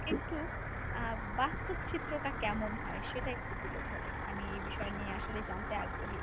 একটু আহ বাস্তব চিত্রটা কেমন হয় সেটা একটু তুলে ধরো আমি এই বিষয় নিয়ে আসলেই জানতে আগ্রহী।